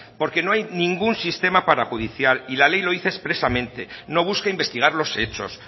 porque no hay ningún sistema parajudicial y la ley lo dice expresamente no busca investigar los hechos